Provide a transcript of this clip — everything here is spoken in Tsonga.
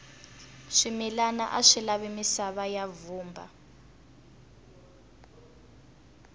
swimilana aswi lavi misava ya vumba